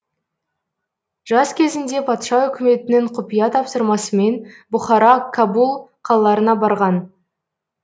жас кезінде патша үкіметінің құпия тапсырмасымен бұхара кабул қалаларына барған